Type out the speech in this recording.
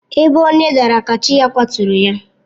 Ebe onye daara ka chi ya kwaturu ya.